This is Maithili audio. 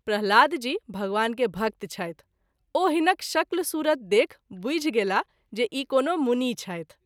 प्रह्लाद जी भगवान के भक्त छथि ओ हिनक शक्ल सूरत देखि बुझि गेलाह जे ई कोनो मुनि छथि।